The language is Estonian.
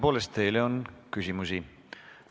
Tõepoolest, teile on küsimusi.